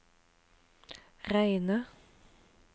reine